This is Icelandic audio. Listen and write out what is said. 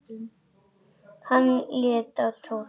Hann leit til Tóta.